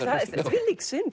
þvílík synd